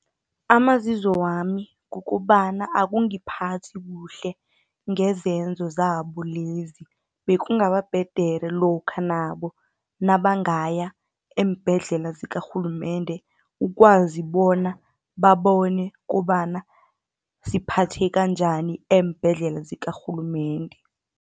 Amazizo wami, kukobana akungiphathi kuhle, ngezenzo zabo lezi, bekungaba bhedere lokha nabo nabangaya eembhedlela zikarhulumende, ukwazi bona babone kobana siphatheka njani eembhedlela zikarhulumende.